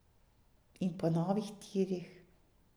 In po novih tirih.